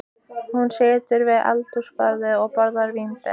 Hún situr við eldhúsborðið og borðar vínber.